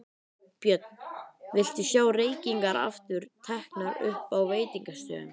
Björn: Viltu sjá reykingar aftur teknar upp á veitingastöðum?